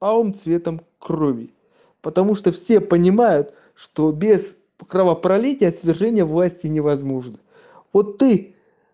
алым цветом крови потому что все понимают что без кровопролития свержения власти невозможно вот ты